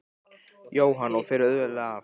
Jóhann: Og fer auðveldlega af?